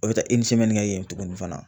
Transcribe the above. O bi taa kɛ yen tuguni fana